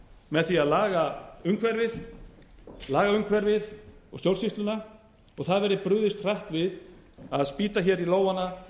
með því að laga umhverfið lagaumhverfið og stjórnsýsluna og það verði brugðist hratt við að snýr hér í lófana